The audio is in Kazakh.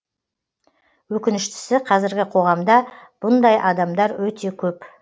өкініштісі қазіргі қоғамда бұндай адамдар өте көп